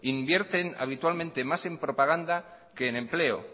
invierten habitualmente más en propaganda que en empleo